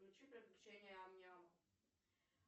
включи приключения ам няма